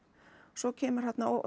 svo kemur þarna og